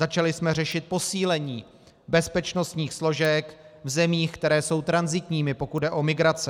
Začali jsme řešit posílení bezpečnostních složek v zemích, které jsou tranzitními, pokud jde o migrace.